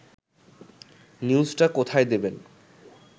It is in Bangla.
নিউজটা কোথায় দেবেন